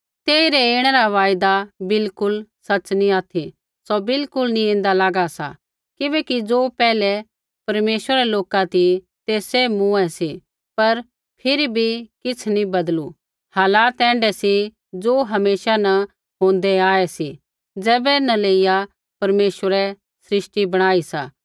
तेइरै ऐणा रा वायदा बिलकुल सच़ नी ऑथि सौ बिल्कुल नी ऐन्दा लागा सा किबैकि ज़ो पैहलै परमेश्वरा रै लोका ती ते सैभ मूँऐं सी पर फिरी भी किछ़ नी बदलू हालात ऐण्ढै सी ज़ो हमेशा न होंदै आऐ सा ज़ैबै न लेइया परमेश्वरै सृष्टि बणाई सा